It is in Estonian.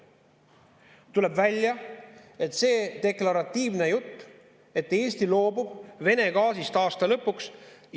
Tuleb välja, et see on deklaratiivne jutt, et Eesti loobub Vene gaasist aasta lõpuks.